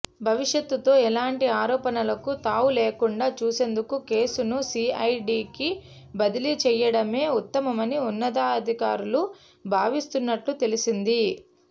భవిష్యత్లో ఎలాంటి ఆరోపణలకు తావులేకుండా చూసేందుకు కేసును సీఐడీకి బదిలీ చేయడమే ఉత్తమమని ఉన్నతాధికారులు భావిస్తున్నట్లు తెలిసింది